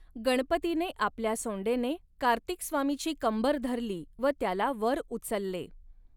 गणपतीने आपल्या सोंडेने कार्तिकस्वामीची कंबर धरली व त्याला वर उचलले.